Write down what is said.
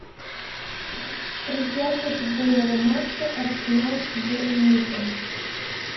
трансляция футбольного матча арсенал с борнмутом